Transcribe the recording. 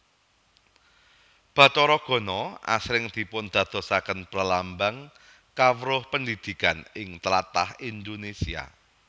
Bathara Gana asring dipundadosaken perlambang kawruh pendhidhikan ing tlatah Indonésia